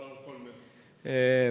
Palun, kolm minutit!